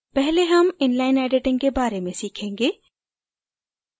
पहले हम inline editing के बारे में सीखेंगे